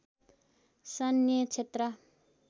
सैन्य क्षेत्र